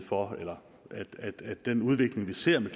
for at den udvikling vi ser med